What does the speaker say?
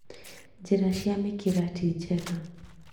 Njĩra cia mĩkĩra ti njega